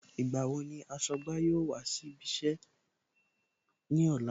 Ìgbà wo ni aṣọ́gbà yóò wá síbí iṣẹ́ ní ọ̀la